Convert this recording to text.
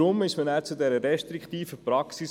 Das ist der Grund für diese restriktive Praxis.